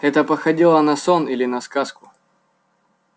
это походило на сон или на сказку